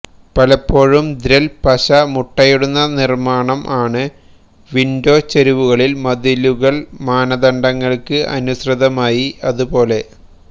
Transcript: പലപ്പോഴും ദ്ര്യ്വല്ല് പശ മുട്ടയിടുന്ന നിർമ്മാണം ആണ് വിൻഡോ ചരിവുകളിൽ മതിലുകൾ മാനദണ്ഡങ്ങൾക്ക് അനുസൃതമായി അതുപോലെ